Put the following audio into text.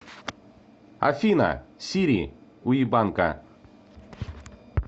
афина сири уебанка